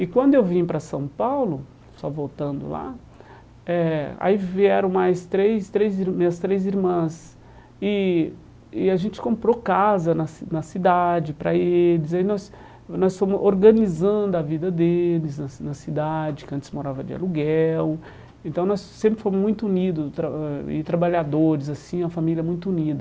E quando eu vim para São Paulo, só voltando lá eh, aí vieram mais três três, minhas três irmãs, e e a gente comprou casa na ci na cidade para eles, aí nós nós fomos organizando a vida deles na ci na cidade, que antes morava de aluguel, então nós sempre fomos muito unidos, e trabalhadores, assim, uma família muito unida.